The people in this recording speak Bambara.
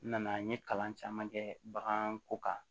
N nana n ye kalan caman kɛ baganko kan